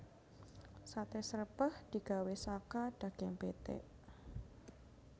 Saté srèpèh digawé saka daging pitik